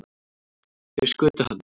Þeir skutu hann